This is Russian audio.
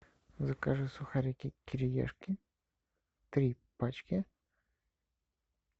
закажи сухарики кириешки три пачки